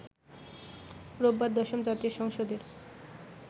রোববার দশম জাতীয় সংসদের